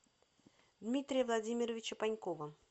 дмитрия владимировича панькова